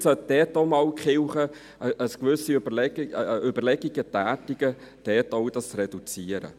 Vielleicht sollte die Kirche Überlegungen anstellen, diesen Betrag zu reduzieren.